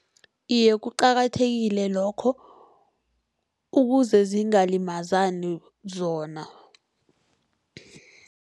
Iye, kuqakathekile lokho ukuze zingalimazani zona.